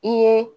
I ye